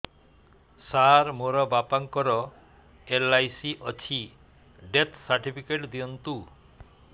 ସାର ମୋର ବାପା ଙ୍କର ଏଲ.ଆଇ.ସି ଅଛି ଡେଥ ସର୍ଟିଫିକେଟ ଦିଅନ୍ତୁ